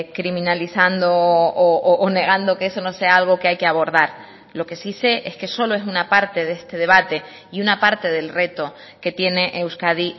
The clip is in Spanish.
criminalizando o negando que eso no sea algo que hay que abordar lo que sí sé es que solo es una parte de este debate y una parte del reto que tiene euskadi